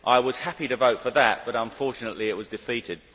I was happy to vote for that but unfortunately, it was defeated.